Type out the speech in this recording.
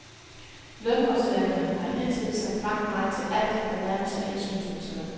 Lønmodtagerne har hidtil sagt blankt nej til alt, der nærmer sig indslusningsløn.